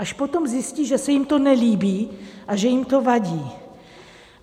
Až potom zjistí, že se jim to nelíbí a že jim to vadí.